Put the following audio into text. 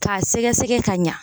K'a sɛgɛsɛgɛ ka ɲan.